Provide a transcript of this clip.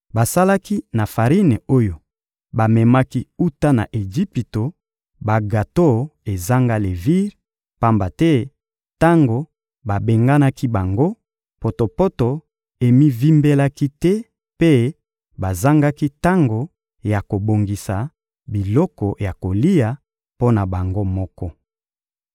Basalaki na farine oyo bamemaki wuta na Ejipito bagato ezanga levire, pamba te tango babenganaki bango, potopoto emivimbelaki te mpe bazangaki tango ya kobongisa biloko ya kolia mpo na bango moko.